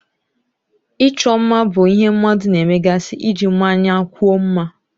Ịchọ mma bụ ihe mmadụ na-emegasị iji mmanyekwuo mma.